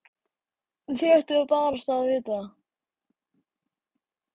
Þið ættuð barasta að vita það.